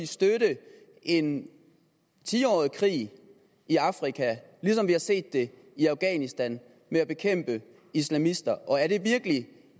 støtte en tiårig krig i afrika ligesom vi har set det i afghanistan med at bekæmpe islamister og er det virkelig